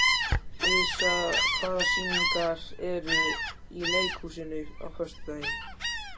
Arisa, hvaða sýningar eru í leikhúsinu á föstudaginn?